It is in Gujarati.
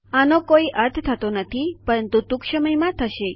આનો કોઇ અર્થ નથી થતો પરંતુ ટૂંક સમયમાં થશે